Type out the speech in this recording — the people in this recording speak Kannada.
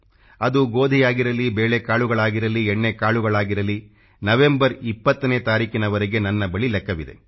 ಅದು ಗೋಧಿಯಾಗಿರಲಿ ಬೇಳೆಕಾಳುಗಳಾಗಿರಲಿ ಎಣ್ಣೆಕಾಳುಗಳಾಗಿರಲಿ ನವೆಂಬರ್ 20 ತಾರೀಖಿನವರೆಗೆ ನನ್ನ ಬಳಿ ಲೆಕ್ಕವಿದೆ